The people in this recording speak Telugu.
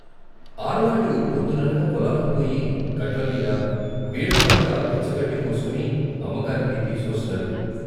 ఆడవాళ్ళు పొద్దుననగా పొలాలకు పోయి గట్లమీదా, బీళ్ళ పక్కా పచ్చగడ్డి కోసుకుని అమ్మకానికి తీసుకొస్తున్నారు.